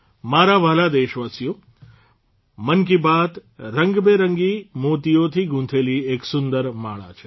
મારા વહાલા દેશવાસીઓ મન કી બાત રંગબેરંગી મોતીઓથી ગુંથેલી એક સુંદર માળા છે